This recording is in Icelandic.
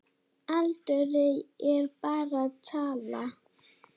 Aldur er bara tala.